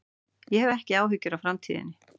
Ég hef ekki áhyggjur af framtíðinni.